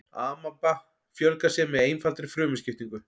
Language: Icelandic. amaba fjölgar sér með einfaldri frumuskiptingu